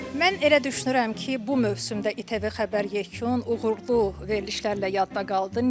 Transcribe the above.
Mən elə düşünürəm ki, bu mövsümdə İTV xəbər yekun uğurlu verilişlərlə yadda qaldı.